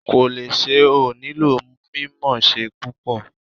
Kòlẹ́sẹ̀ ò nílò mímọ̀ọ́ṣé púpò